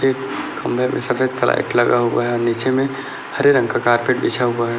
ठीक खंभे में सफेद का लाइट लगा हुआ है और नीचे में हरे रंग का कारपेट बिछा हुआ हैं ।